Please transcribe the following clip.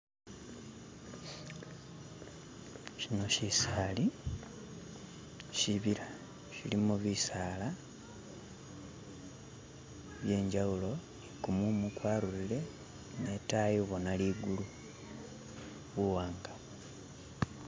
Shino shisali, shibila, shilimo bisala, kumumu kwarurire netayi ubona ligulu buwanga